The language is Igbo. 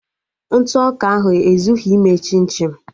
Ntụ ọka ahụ ezughị ime chim chim